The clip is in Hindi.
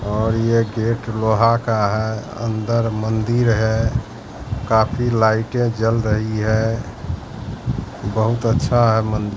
और यह गेट लोहा का है अंदर मंदिर है काफी लाइटें जल रही है बहुत अच्छा है मंद--